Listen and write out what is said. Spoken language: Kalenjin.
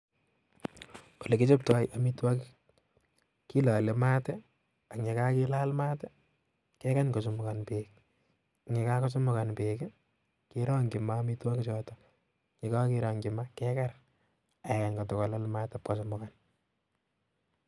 Ole kichoptoo amitwogiik, kilole maat ak ye kakilaal maat, kekany kochumugan beek, ye kakochumukan beek I,kerongyii maat amitwogiik choto yeityo kekany, ak yoche kololchii maat ipkochumukan